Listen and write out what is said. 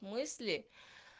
мысли